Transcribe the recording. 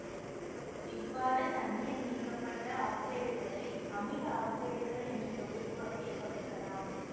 இவ்வாறு தண்ணீர் நீக்கப்பட்ட ஆக்சைடுகளை அமில ஆக்சைடுகள் என்ற தொகுப்பு வகையில் பகுக்கலாம்